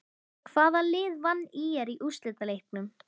Hvaða lið vann ÍR í úrslitaleiknum?